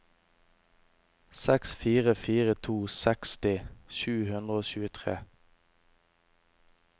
seks fire fire to seksti sju hundre og tjuetre